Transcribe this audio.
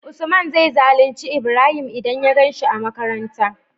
usman zai zalunci ibrahim idan ya ganshi a makaranta